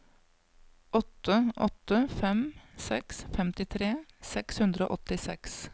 åtte åtte fem seks femtitre seks hundre og åttiseks